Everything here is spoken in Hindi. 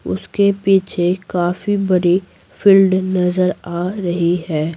उसके पीछे काफी बड़ी फील्ड नजर आ रही है।